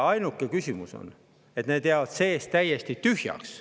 Ainuke küsimus on selles, et need jäävad seest täiesti tühjaks.